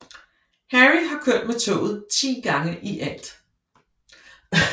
Harry har kørt med toget ti gange i alt